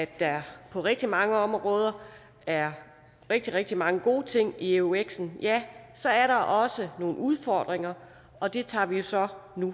der på rigtig mange områder er rigtig rigtig mange gode ting i euxen så er der også nogle udfordringer og det tager vi så